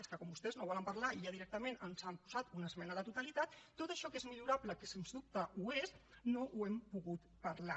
és que com vostès no volen parlar i ja directament ens han posat una esmena a la totalitat tot això que és millorable que sens dubte ho és no ho hem pogut parlar